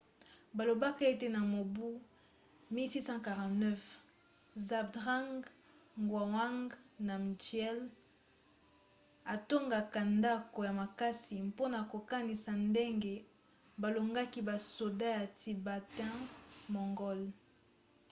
balobaka ete na mobu 1649 zhabdrung ngawang namgyel atongaka ndako ya makasi mpona kokanisa ndenge balongaki basoda ya tibetain-mongol